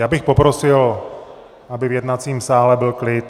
Já bych poprosil, aby v jednacím sále byl klid.